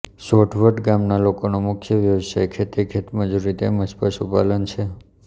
સોઢવડ ગામના લોકોનો મુખ્ય વ્યવસાય ખેતી ખેતમજૂરી તેમ જ પશુપાલન છે